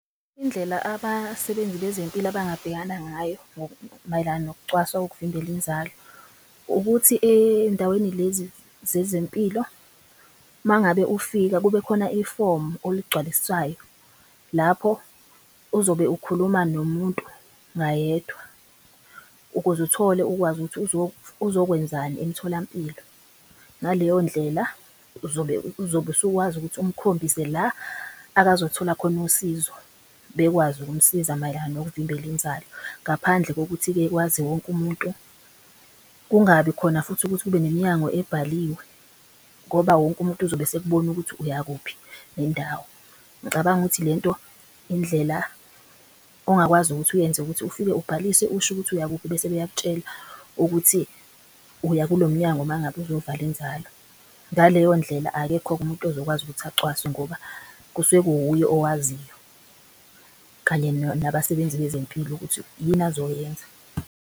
Indlela abasebenzi bezempilo abangabhekana ngayo mayelana nokucwaswa kokuvimbela inzalo ukuthi endaweni lezi zezempilo mangabe ufika kube khona ifomu oligcwalisayo lapho uzobe ukhuluma nomuntu ngayedwa ukuze uthole ukwazi ukuthi uzokwenzani emtholampilo. Ngaleyo ndlela uzobe usukwazi ukuthi umkhombise la akazothola khona usizo bekwazi ukumsiza mayelana nokuvimbela inzalo. Ngaphandle kokuthi-ke kwazi wonke umuntu, kungabi khona futhi ukuthi kube nemnyango ebhaliwe ngoba wonke umuntu ozobe esekubona ukuthi uyakuphi nendawo. Ngicabanga ukuthi lento indlela ongakwazi ukuthi uyenze ukuthi ufike ubhalise, usho ukuthi uyakuphi bese beyakutshela ukuthi uya kulo mnyango. Uma ngabe uzovala inzalo ngaleyo ndlela, akekho-ke umuntu ozokwazi ukuthi acwaswe ngoba kusuke kuwuye owaziyo kanye nabasebenzi bezempilo ukuthi yini azoyenza.